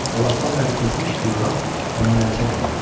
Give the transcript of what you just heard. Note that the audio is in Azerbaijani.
O vaxtdan bəri keçmiş fiqurant ondan əl çəkmirdi.